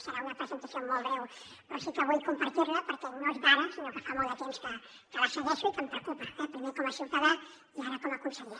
serà una presentació molt breu però sí que vull compartir la perquè no és d’ara sinó que fa molt de temps que la segueixo i que em preocupa primer com a ciutadà i ara com a conseller